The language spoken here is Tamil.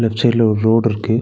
லெஃப்ட் சைடுல ஒரு ரோடு இருக்கு.